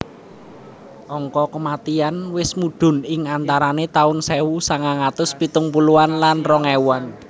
Angka kematian wis mudhun ing antarane taun sewu sangang atus pitung puluhan lan rong ewuan